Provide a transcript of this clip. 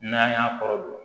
N'an y'a kɔrɔ don